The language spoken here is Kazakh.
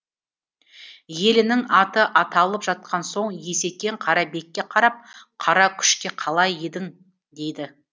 елінің аты аталып жатқан соң есекең қарабекке қарап қара күшке қалай едің дейді